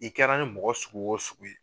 I kɛra ni mɔgɔ sugu wo sugu ye.